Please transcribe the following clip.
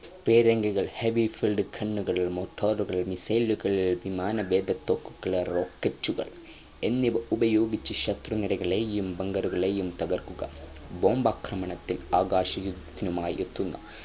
പീരങ്കികൾ heavy filled gun ഉകൾ morter ഉകൾ missile വിമാനവേദ തോക്കുകൾ rocket ഉകൾ എന്നിവ ഉപയോഗിച്ചു ശത്രുനിരകളെയും bunger ഉകളെയും തകർക്കു bomb ആക്രമണത്തിൽ ആകാശ യുദ്ധത്തിനുമായി എത്തുന്ന